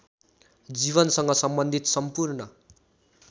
जीवनसँग सम्बन्धित सम्पूर्ण